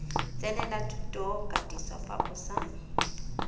tsenela thutokatiso fa o sa